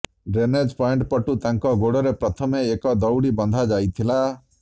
drainage point ପଟୁ ତାଙ୍କ ଗୋଡ଼ରେ ପ୍ରଥମେ ଏକ ଦଉଡ଼ି ବନ୍ଧା ଯାଇଥିଲା